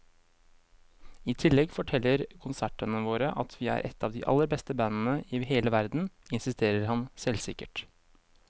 I tillegg forteller konsertene våre at vi er et av de aller beste bandene i hele verden, insisterer han selvsikkert.